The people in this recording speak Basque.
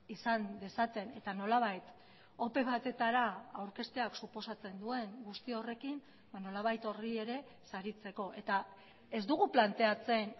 izan dezaten eta nolabait ope batetara aurkezteak suposatzen duen guzti horrekin nolabait horri ere saritzeko eta ez dugu planteatzen